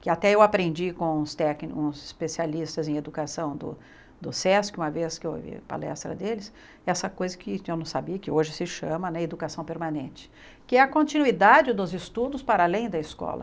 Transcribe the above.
que até eu aprendi com uns tecnicos especialistas em educação do do SESC, uma vez que eu ouvi a palestra deles, essa coisa que eu não sabia, que hoje se chama educação permanente, que é a continuidade dos estudos para além da escola.